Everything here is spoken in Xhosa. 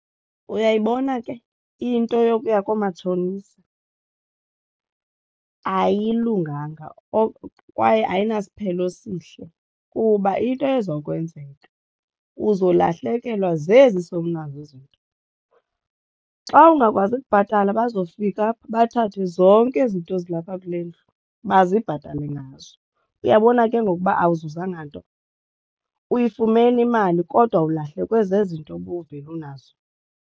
Uyayibona ke into yokuya koomatshonisa ayilunganga kwaye ayinasiphelo sihle kuba into eza kwenzeka uzolahlekelwa zezi sowunazo izinto. Xa ungakwazi kubhatala bazofika bathathe zonke ezi zinto zilapha kule ndlu bazibhatale ngazo. Uyabona ke ngoku uba awuzuzange nto? Uyifumene imali kodwa ulahlekwe zezi nto ubuvele unazo.